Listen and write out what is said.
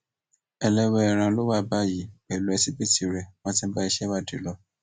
ẹlẹwẹẹran ló wà báyìí pẹlú ẹsíbìítì rẹ wọn ti ń bá iṣẹ ìwádìí lọ